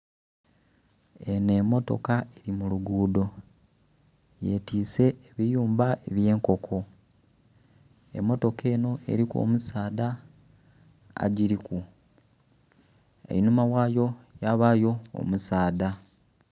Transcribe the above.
Eno emmotoka eri muludhudho yetise ebiyumba ebyenkoko, emmotoka eno eriku omusaadha agiriku einhuma wayo yabayo omusaadha.